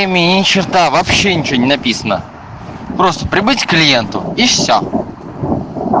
ми ни черта вообще ничего не написано просто прибыть к клиенту и все